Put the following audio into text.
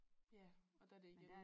Ja og der er det igen